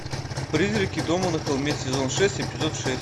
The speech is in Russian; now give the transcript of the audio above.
призраки дома на холме сезон шесть эпизод шесть